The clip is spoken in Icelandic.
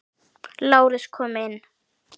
LÁRUS: Kom inn!